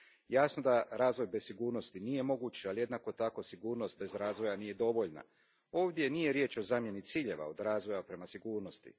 Jasno da razvoj bez sigurnosti nije moguć, ali jednako tako sigurnost bez razvoja nije dovoljna. Ovdje nije riječ o zamjeni ciljeva od razvoja prema sigurnosti.